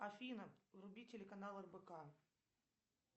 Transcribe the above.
афина вруби телеканал рбк